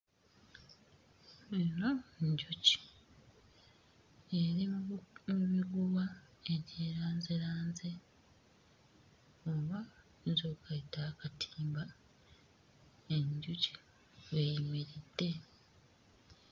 Eno njuki, eri mu mu miguwa egyeranzeranze oba oyinza okayita akatimba enjuki w'eyimiridde.